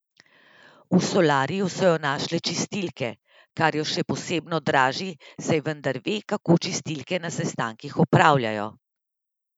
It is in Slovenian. V solariju so jo našle čistilke, kar jo še posebno draži, saj vendar ve, kako čistilke na sestankih opravljajo.